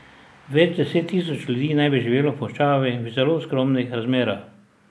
Več deset tisoč ljudi naj bi živelo v puščavi v zelo skromnih razmerah.